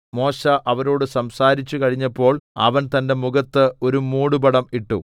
മോശെ അവരോട് സംസാരിച്ചു കഴിഞ്ഞപ്പോൾ അവൻ തന്റെ മുഖത്ത് ഒരു മൂടുപടം ഇട്ടു